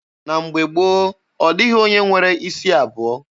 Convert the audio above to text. Na mgbe gboo, ọ dịghị onye nwere isi abụọ.